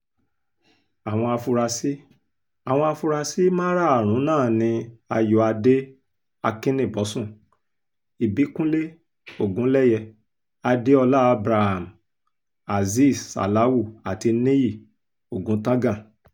àwọn afurasí àwọn afurasí márààrún náà ni ayọ̀adé akínníbọ́sùn ìbíkúnlẹ̀ ogunléyé adéọlá abraham azeez salawu àti níyí ọ̀gùntàngan